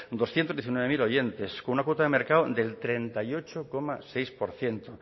doscientos diecinueve mil oyentes con una cuota de mercado del treinta y ocho coma seis por ciento